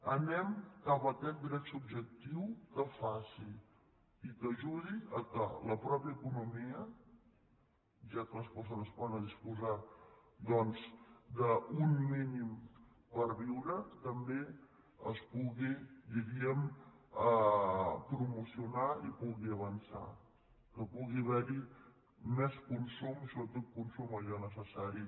anem cap a aquest dret subjectiu que faci i que ajudi perquè la mateixa economia ja que les persones poden disposar d’un mínim per viure també es pugui diguem ne promocionar i pugui avançar que pugui haver hi més consum i sobretot consum d’allò necessari